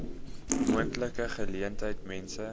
moontlike geleentheid mense